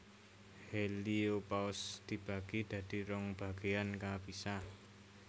Heliopause dibagi dadi rong bagéan kapisah